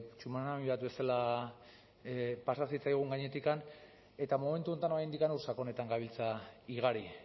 tsunami bat bezala zitzaigun gainetik eta momentu honetan oraindik ur sakonetan gabiltza igari